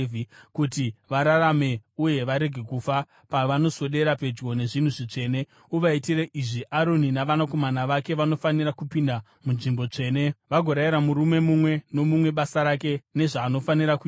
Kuti vararame uye varege kufa pavanoswedera pedyo nezvinhu zvitsvene, uvaitire izvi: Aroni navanakomana vake vanofanira kupinda munzvimbo tsvene vagorayira murume mumwe nomumwe basa rake nezvaanofanira kuita.